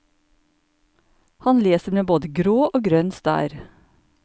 Han leser med både grå og grønn stær.